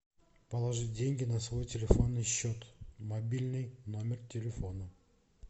положить деньги на свой телефонный счет мобильный номер телефона